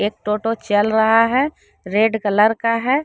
एक टोटो चल रहा है रेड कलर का है।